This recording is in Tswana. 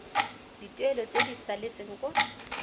dituelo tse di saletseng kwa